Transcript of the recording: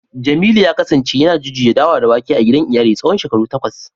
jemilu ya kasance yana jujjuya dawa da wake a gidan iyali tsawon shekaru takwas